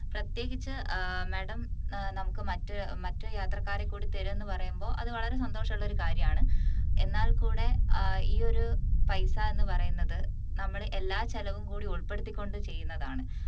പ്രത്യേകിച്ച് ഏർ madam നമുക്ക് മറ്റ് യാത്രക്കാരെ കൂടി തരും എന്ന് പറയുമ്പോ അത് വളരെ സന്തോഷം ഉള്ള ഒരു കാര്യമാണ് എന്നാൽ കൂടെ ഏർ ഈയൊരു പൈസ എന്ന് പറയുന്നത് നമ്മളെ എല്ലാ ചെലവും കൂടി ഉൾപ്പെടുത്തിക്കൊണ്ട് ചെയ്യുന്നതാണ്